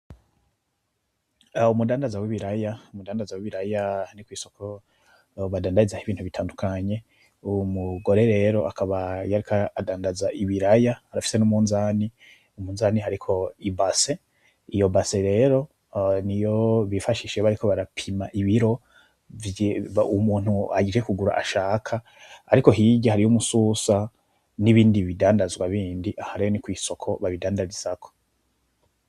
Umudandaza w'ibiraya, umudandaza w'ibiraya, aha ni kw'isoko badandaza ho ibintu bitandukanye, uwu mugore rero akaba yariko andandaza ibiraya, arafise n'umunzane, umunzane hariko ibase, iyo base rero niyo bifashisha bariko barapima ibiro umuntu aje kugura ashaka, ariko hirya hariy' umususa n'ibindi bidandazwa bindi, aha rero ni kw'isoko babindandarizako.